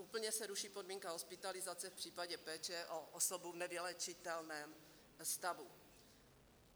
A úplně se ruší podmínka hospitalizace v případě péče o osobu v nevyléčitelném stavu.